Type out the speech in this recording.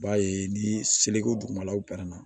B'a ye ni seliko dugumalaw pɛrɛna